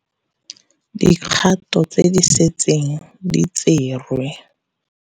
Dikgato tse di setseng di tserwe.